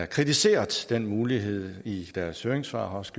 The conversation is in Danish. kritiseret den mulighed i deres høringssvar og også